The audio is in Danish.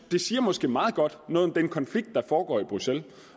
det siger måske meget godt noget om den konflikt der foregår i bruxelles